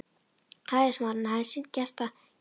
Ræðismaðurinn hafði sinnt gestgjafahlutverkinu af leikni.